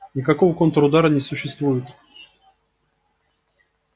никакого контрудара не существует